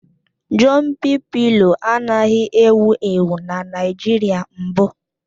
Jọmpị pịlo anaghị ewu ewu na Naịjirịa mbụ